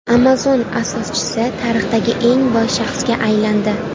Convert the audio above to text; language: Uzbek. Amazon asoschisi tarixdagi eng boy shaxsga aylandi.